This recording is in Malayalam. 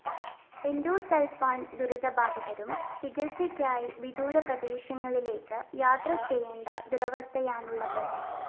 എന്‍ഡോസള്‍ഫാന്‍ ദുരിതബാധിതരും ചികിത്സയ്ക്കായി വിദൂര പ്രദേശങ്ങളിലേക്ക് യാത്ര ചെയ്യേണ്ട ദുരവസ്ഥയാണുള്ളത്